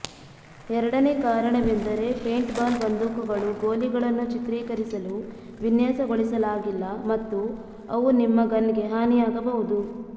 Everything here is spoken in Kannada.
ಎರಡನೇ ಕಾರಣವೆಂದರೆ ಪೇಂಟ್ಬಾಲ್ ಬಂದೂಕುಗಳು ಗೋಲಿಗಳನ್ನು ಚಿತ್ರೀಕರಿಸಲು ವಿನ್ಯಾಸಗೊಳಿಸಲಾಗಿಲ್ಲ ಮತ್ತು ಅವು ನಿಮ್ಮ ಗನ್ಗೆ ಹಾನಿಯಾಗಬಹುದು